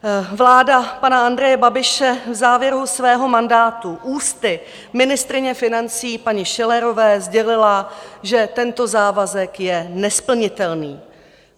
Vláda pana Andreje Babiše v závěru svého mandátu ústy ministryně financí paní Schillerové sdělila, že tento závazek je nesplnitelný.